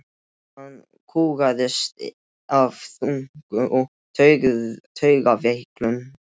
Hann kúgaðist af þynnku og taugaveiklun.